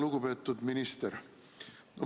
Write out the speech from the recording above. Lugupeetud minister!